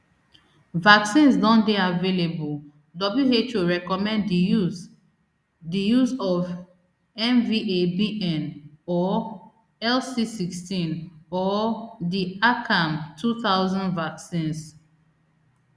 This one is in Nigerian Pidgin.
vaccines don dey available who recommend di use di use of mvabn or lcsixteen or di acamtwo thousand vaccines